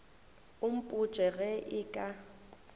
o mpotše ge e ka